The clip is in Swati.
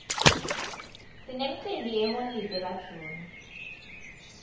sinemcimbi yeholide ka june